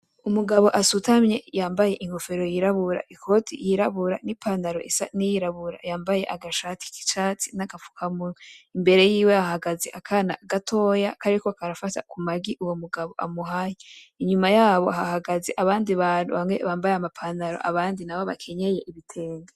Umugabo asutamye yambaye inkofero yirabura, ikoti yirabura, n'ipantalo isa n'iyirabura yambaye agashati kicatsi, naga fukamunwa imbere yiwe hahagaze akana gatoya kariko karafata kumagi uwo mugabo amuhaye. Inyuma yabo hahagaze abandi bantu bamwe bambaye ama pantalo abandi nabo bakenyeye ibitenge.